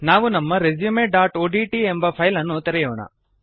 ನಾವು ನಮ್ಮ resumeಒಡಿಟಿ ಎಬ ಫೈಲ್ ಅನ್ನು ತೆರೆಯೋಣ